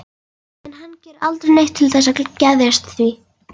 En hann gerir aldrei neitt til þess að geðjast því.